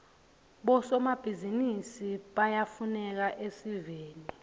bosomabhizinisi bayafuneka esiveni